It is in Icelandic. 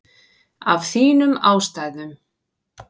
Af þínum ástæðum.